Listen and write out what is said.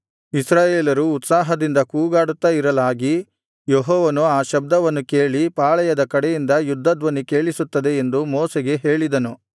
ಇಸ್ರಾಯೇಲರು ಉತ್ಸಾಹದಿಂದ ಕೂಗಾಡುತ್ತಾ ಇರಲಾಗಿ ಯೆಹೋಶುವನು ಆ ಶಬ್ದವನ್ನು ಕೇಳಿ ಪಾಳೆಯದ ಕಡೆಯಿಂದ ಯುದ್ಧಧ್ವನಿ ಕೇಳಿಸುತ್ತದೆ ಎಂದು ಮೋಶೆಗೆ ಹೇಳಿದನು